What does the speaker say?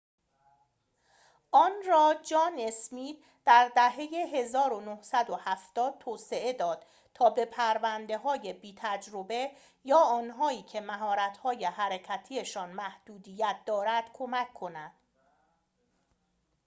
آن را جان اسمیت در دهه ۱۹۷۰ توسعه داد تا به پرونده‌های بی‌تجربه یا آنهایی که مهارت‌های حرکتی‌شان محدودیت دارد کمک کند